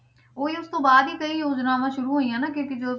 ਉਹੀ ਉਸ ਤੋਂ ਬਾਅਦ ਹੀ ਕਈ ਯੋਜਨਾਵਾਂ ਸ਼ੁਰੂ ਹੋਈਆਂ ਨਾ ਕਿਉਂਕਿ ਜੋ